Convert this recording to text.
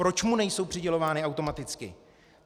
Proč mu nejsou přidělovány automaticky?